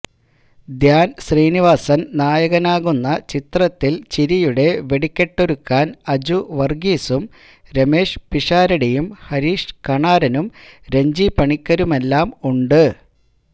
ധ്യാന് ശ്രീനിവാസന് നായകനാകുന്ന ചിത്രത്തില് ചിരിയുടെ വെടിക്കെട്ടൊരുക്കാൻ അജു വര്ഗീസും രമേഷ് പിഷാരടിയും ഹരീഷ് കണാരനും രഞ്ജി പണിക്കരുമെല്ലാം ഉണ്ട്